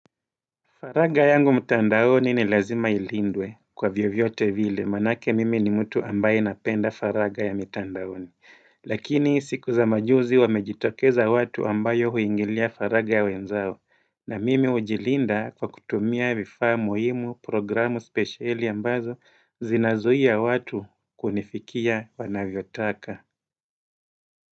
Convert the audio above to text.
Faraga yangu mtandaoni ni lazima ilindwe kwa vyovyote vile maanake mimi ni mtu ambaye napenda faraga ya mtandaoni Lakini siku za majuzi wamejitokeza watu ambayo huingilia faraga ya wenzao na mimi hujilinda kwa kutumia vifaa muhimu programu speciali ambazo zinazuia watu kunifikia wanavyotaka.